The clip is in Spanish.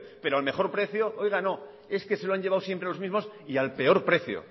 pero al mejor precio es que se lo han llevado siempre los mismos y al peor precio